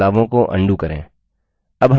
बदलावों को undo करें